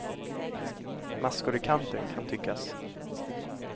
Maskor i kanten, kan tyckas.